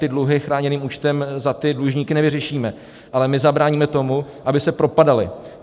Ty dluhy chráněným účtem za ty dlužníky nevyřešíme, ale my zabráníme tomu, aby se propadali.